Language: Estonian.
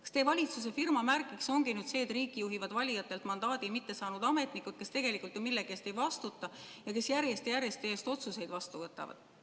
Kas teie valitsuse firmamärgiks ongi nüüd see, et riiki juhivad valijatelt mandaadi mittesaanud ametnikud, kes tegelikult ju millegi eest ei vastuta ja kes järjest ja järjest teie eest otsuseid vastu võtavad?